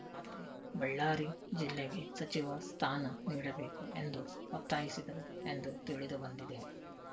ಆದರೆ ಬಳ್ಳಾರಿ ಜಿಲ್ಲೆಗೆ ಸಚಿವ ಸ್ಥಾನ ನೀಡಬೇಕು ಎಂದು ಒತ್ತಾಯಿಸಿದರು ಎಂದು ತಿಳಿದುಬಂದಿದೆ